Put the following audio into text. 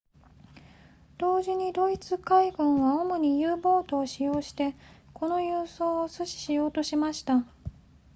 同時にドイツ海軍は主に u ボートを使用してこの輸送を阻止しようとしていました